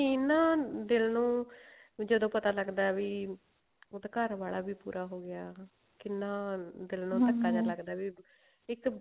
scene ਨਾ ਦਿਲ ਨੂੰ ਵੀ ਜਦੋਂ ਪਤਾ ਲੱਗਦਾ ਵੀ ਉਹਦਾ ਘਰ ਵਾਲਾ ਵੀ ਪੂਰਾ ਹੋਗਿਆ ਕਿੰਨਾ ਦਿਲ ਧੱਕਾ ਜਾ ਲੱਗਦਾ ਵੀ ਇੱਕ